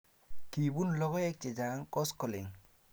Kiipun logoek chechang' koskoling'